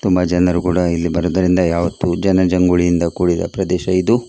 ತುಂಬ ಜನರು ಕೂಡ ಇಲ್ಲಿ ಬರುವುದರಿಂದ ಯಾವತ್ತೂ ಜನ ಜಂಗುಳಿಯಿಂದ ಕೂಡಿದ ಪ್ರದೇಶ ಇದು .